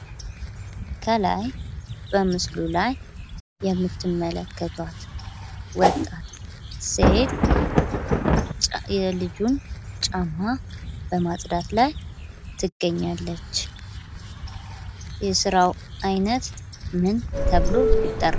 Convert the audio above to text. ከላይ በምስሉ ላይ የምትመለከቷት ወጣት ሴት የልጁን ጫማ በማጽዳት ላይ ትገኛለች። የስራው አይነት ምን ተብሎ ይጠራል?